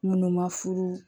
Minnu ma furu